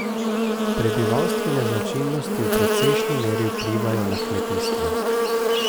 Prebivalstvene značilnosti v precejšni meri vplivajo na kmetijstvo.